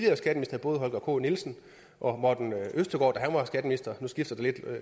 både holger k nielsen og morten østergaard da han var skatteminister nu skifter det lidt